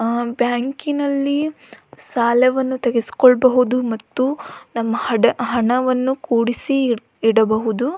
ಆ ಬ್ಯಾಂಕಿನಲ್ಲಿ ಸಾಲವನ್ನು ತೆಗಿಸ್ಕೊಳ್ಬಹುದು ಮತ್ತು ಹಣವನ್ನು ಕೂಡಿಸಿ ಇಡಬಹುದು.